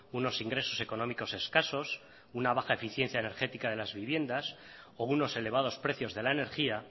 unos ingresos económicos escasos una baja eficiencia energética de las viviendas o unos elevados precios de la energía